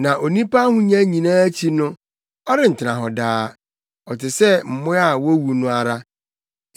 Na onipa ahonya nyinaa akyi no, ɔrentena hɔ daa; ɔte sɛ mmoa a wowu no ara.